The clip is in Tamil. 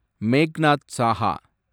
மேக்நாத் சாஹா